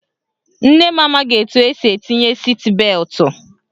Nne m amaghị etu esi etinye siit beltụ.